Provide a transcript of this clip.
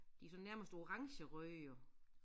De sådan nærmest orangerøde jo